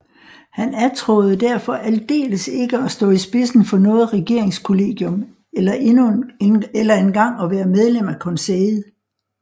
Han attråede derfor aldeles ikke at stå i spidsen for noget regeringskollegium eller engang at være medlem af Konseillet